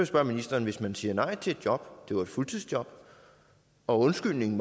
spørge ministeren hvis man siger nej til et job det var et fuldtidsjob og undskyldningen